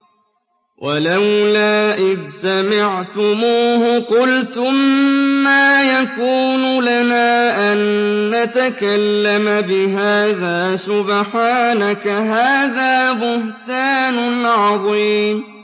وَلَوْلَا إِذْ سَمِعْتُمُوهُ قُلْتُم مَّا يَكُونُ لَنَا أَن نَّتَكَلَّمَ بِهَٰذَا سُبْحَانَكَ هَٰذَا بُهْتَانٌ عَظِيمٌ